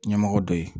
Ɲɛmɔgɔ dɔ ye